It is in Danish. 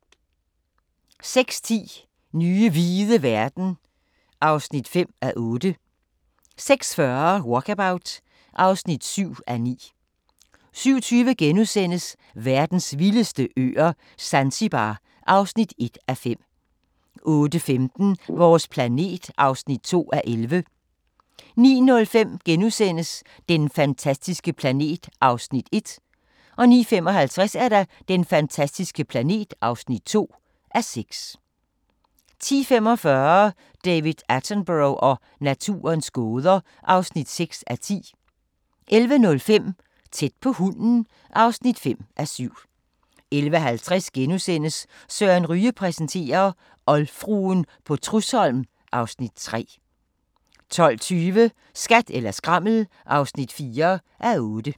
06:10: Nye hvide verden (5:8) 06:40: Walkabout (7:9) 07:20: Verdens vildeste øer - Zanzibar (1:5)* 08:15: Vores planet (2:11) 09:05: Den fantastiske planet (1:6)* 09:55: Den fantastiske planet (2:6) 10:45: David Attenborough og naturens gåder (6:10) 11:05: Tæt på hunden (5:7) 11:50: Søren Ryge præsenterer - oldfruen på Trudsholm (Afs. 3)* 12:20: Skat eller skrammel (4:8)